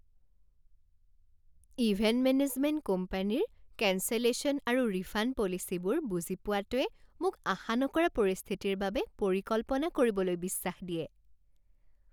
Event management কোম্পানীৰ cancellation আৰু refund পলিচিবোৰ বুজি পোৱাটোৱে মোক আশা নকৰা পৰিস্থিতিৰ বাবে পৰিকল্পনা কৰিবলৈ বিশ্বাস দিয়ে।